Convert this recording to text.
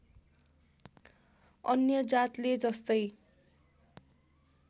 अन्य जातले जस्तै